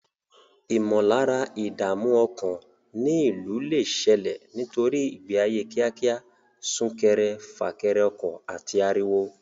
Ìmọ̀lára ìdààmú ọkàn ní ìlú lè ṣẹlẹ̀ nítorí ìgbé ayé kíákíá, sún kéré fà kẹrẹ ọkọ̀, àti ariwo.